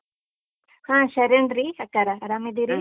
ಹಾ ಶರಣ್ರೀ ಅಕ್ಕಾರಾ, ಆರಾಮಿದ್ದಿರೀ?